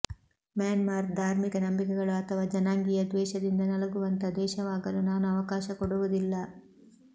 Myanmar ಧಾರ್ಮಿಕ ನಂಬಿಕೆಗಳು ಅಥವಾ ಜನಾಂಗೀಯ ದ್ವೇಷದಿಂದ ನಲುಗುವಂಥ ದೇಶವಾಗಲು ನಾನು ಅವಕಾಶ ಕೊಡುವುದಿಲ್ಲ